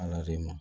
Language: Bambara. Ala de ma